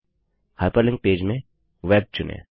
hyperlink page में web चुनें